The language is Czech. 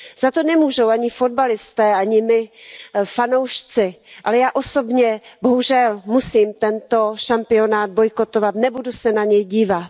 Za to nemůžou ani fotbalisté, ani my fanoušci, ale já osobně bohužel musím tento šampionát bojkotovat, nebudu se na něj dívat.